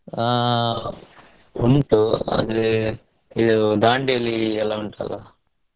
ಆ ಉಂಟು ಆದ್ರೆ Dandeli ಎಲ್ಲಾ ಉಂಟಲ್ಲಾ?